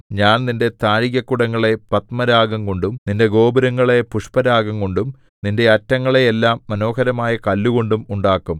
ഞാൻ നിന്റെ താഴികക്കുടങ്ങളെ പത്മരാഗംകൊണ്ടും നിന്റെ ഗോപുരങ്ങളെ പുഷ്പരാഗംകൊണ്ടും നിന്റെ അറ്റങ്ങളെയെല്ലാം മനോഹരമായ കല്ലുകൊണ്ടും ഉണ്ടാക്കും